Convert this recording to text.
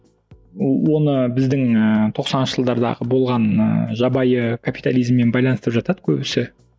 ол оны біздің ы тоқсаныншы жылдардағы болған ы жабайы капитализммен байланыстырып жатады көбісі